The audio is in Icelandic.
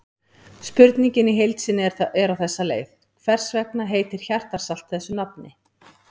Spurningin í heild sinni er á þessa leið: Hvers vegna heitir hjartarsalt þessu nafni?